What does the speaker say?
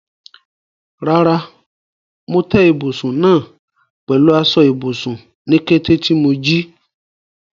Rárá, mo tẹ́ ibùsùn náà pẹ̀lú aṣọ ibùsùn ní kété tí mo jí.